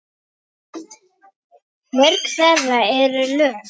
Mörg þeirra eru löng.